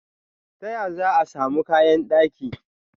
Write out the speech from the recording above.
Ta ya za'a i samun kayan daki?